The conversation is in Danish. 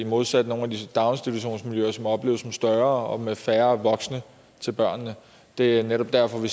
modsat nogle af daginstitutionsmiljøerne som opleves som større og er færre voksne til børnene det er netop derfor vi